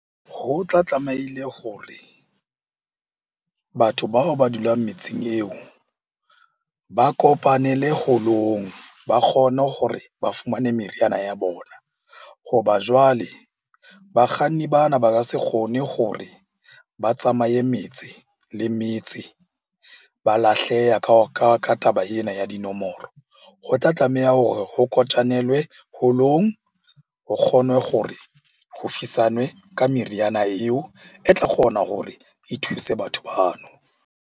Ho tla tlameile hore batho bao ba dulang metseng eo ba kopanele holong ba kgone hore ba fumane meriana ya bona. Hoba jwale bakganni bana ba ka se kgone hore ba tsamaye metse le metse ba lahleha ka taba ena ya dinomoro. Ho tla tlameha hore kotjanelwe holong ho kgonwe gore ho ka meriana eo e tla kgona hore e thuse batho bano.